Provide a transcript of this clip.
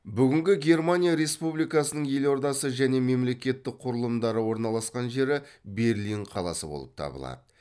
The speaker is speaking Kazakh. бүгінгі германия республикасының елордасы және мемлекеттік құрылымдары орналасқан жері берлин қаласы болып табылады